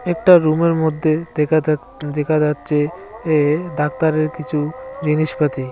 একটা রুমের মধ্যে দেখা যাচ দেখা যাচ্ছে এ ডাক্তারের কিছু জিনিসপাতি।